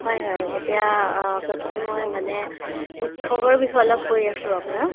হয় হয় এতিয়া অ প্ৰথমে মই মানে উৎসৱৰ বিষয়ে অলপ কৈ আছো আপোনাক